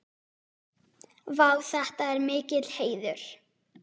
Vá, þetta er mikill heiður.